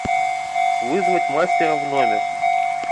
вызвать мастера в номер